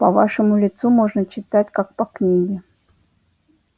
по вашему лицу можно читать как по книге